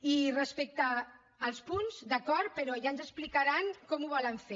i respecte als punts d’acord però ja ens explicaran com ho volen fer